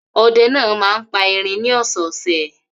Ọdẹ náà máa ń pa erin ní ọ̀sẹ̀ẹ̀sẹ̀?